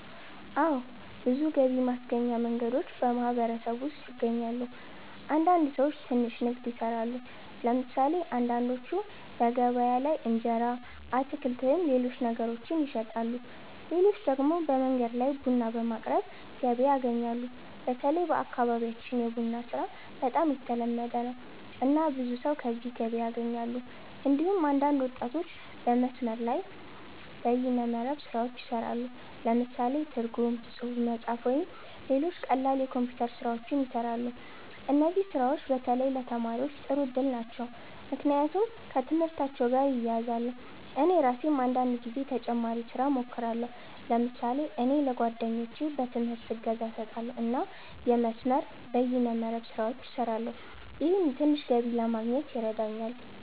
አዎ። ብዙ ገቢ ማስገኛ መንገዶች በማህበረሰቡ ውስጥ ይገኛሉ። አንዳንድ ሰዎች ትንሽ ንግድ ይሰራሉ። ለምሳሌ አንዳንዶቹ በገበያ ላይ እንጀራ፣ አትክልት ወይም ሌሎች ነገሮችን ይሸጣሉ። ሌሎች ደግሞ በመንገድ ላይ ቡና በማቅረብ ገቢ ያገኛሉ። በተለይ በአካባቢያችን የቡና ስራ በጣም የተለመደ ነው፣ እና ብዙ ሰዎች ከዚህ ገቢ ያገኛሉ። እንዲሁም አንዳንድ ወጣቶች በመስመር ላይ (በይነ መረብ) ስራዎች ይሰራሉ። ለምሳሌ ትርጉም፣ ጽሁፍ መጻፍ፣ ወይም ሌሎች ቀላል የኮምፒውተር ስራዎች ይሰራሉ። እነዚህ ስራዎች በተለይ ለተማሪዎች ጥሩ እድል ናቸው፣ ምክንያቱም ከትምህርታቸው ጋር ይያያዛሉ። እኔ ራሴም አንዳንድ ጊዜ ተጨማሪ ስራ እሞክራለሁ። ለምሳሌ እኔ ለጓደኞቼ በትምህርት እገዛ እሰጣለሁ እና የመስመር(በይነ መረብ) ስራዎችን እሰራለሁ። ይህም ትንሽ ገቢ ለማግኘት ይረዳኛል።